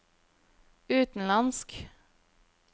utenlandsk